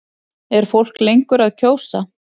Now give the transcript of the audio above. Er fólk lengur að kjósa?